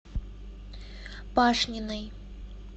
пашниной